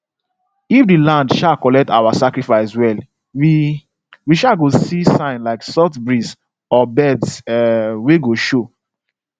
if the land um collect our sacrifice well we we um go see sign like soft breeze or birds um wey go show